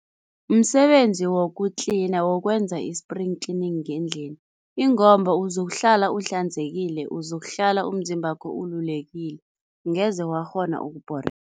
Msebenzi woku-cleaner, wokwenza i-spring cleaning ngendlini ingomba uzokuhlala uhlanzekile, uzokuhlala umzimbakho ululekile, angeze wakghona